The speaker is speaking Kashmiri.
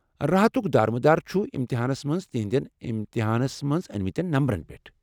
راحتُك دار مدار چُھ امتحانس منٛز تہندین امتحانس منز أنۍمَتیٚن نمبرن پیٹھ ۔